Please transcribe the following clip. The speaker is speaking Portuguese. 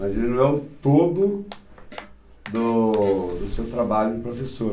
Mas ele não é o todo do do seu trabalho de professor.